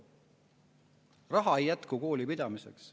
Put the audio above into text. [Raha ei jätku kooli pidamiseks.